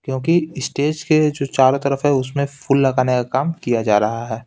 क्योंकि स्टेज के जो चारों तरफ है उसमें फूल लगाने का काम किया जा रहा है।